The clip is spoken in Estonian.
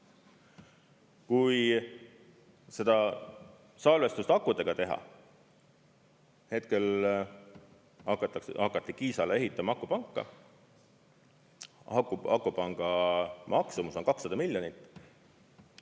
Kui seda salvestust akudega teha, hetkel hakati Kiisale ehitama akupanka, siis akupanga maksumus on 200 miljonit.